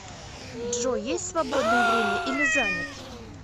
джой есть свободное время или занят